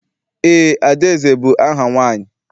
Eé, Adaeze bụ aha nwaanyị.